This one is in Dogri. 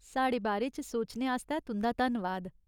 साढ़े बारे च सोचने आस्तै तुंदा धन्नवाद।